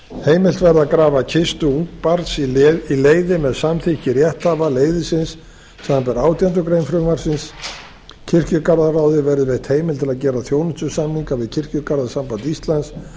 heimilt verði að grafa kistu ungs barns í leiði með samþykki rétthafa leiðisins samanber átjándu grein frumvarpsins kirkjuráði verði veitt heimild til að gera þjónustusamninga við kirkjugarðasamband íslands